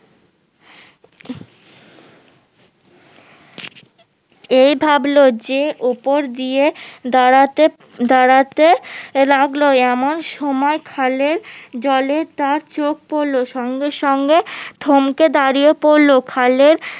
এই ভাবলো যে ওপর দিয়ে দাঁড়াতে লাগলো এমন সময় খালের জলে তার চোখ পড়লো সঙ্গে সঙ্গে থমকে দাঁড়িয়ে পড়লো খালের